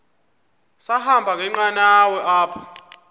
sahamba ngenqanawa apha